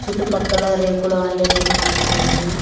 చుట్టుపక్కల రేకుల వంటి నిర్మాణం ఉంది.